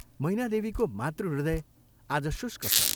मैनादेवीको मातृहृदय आज शुष्क छ।